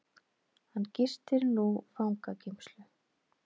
Hann gistir nú fangageymslu